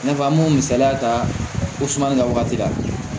I n'a fɔ an m'o misaliya ta o suma la wagati la